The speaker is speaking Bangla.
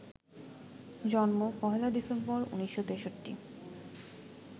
জন্ম ১ ডিসেম্বর, ১৯৬৩